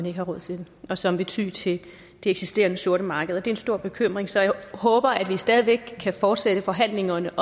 ikke har råd til det og som vil ty til det eksisterende sorte marked og det er en stor bekymring så jeg håber stadig væk at vi kan fortsætte forhandlingerne